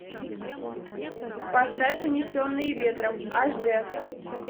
поставь унесенные ветром аш д